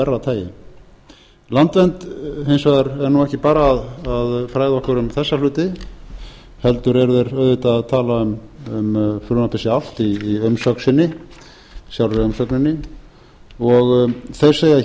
tagi landvernd hins vegar er nú ekki bara að fræða okkur um þessa hluti heldur eru þeir auðvitað að tala um frumvarpið sjálft í umsögn sinni sjálfri umsögninni þeir segja